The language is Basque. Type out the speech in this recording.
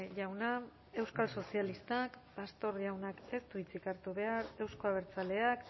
jauna euskal sozialistak pastor jauna ez du hitzik hartu behar euzko abertzaleak